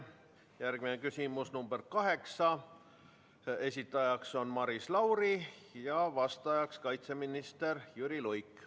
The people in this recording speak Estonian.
Järgmine küsimus, nr 8, esitaja on Maris Lauri ja vastaja kaitseminister Jüri Luik.